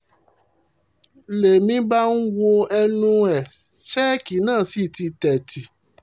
ń lèmi bá ń wo ẹnu ẹ̀ ṣèkì náà sí ti tẹ́tí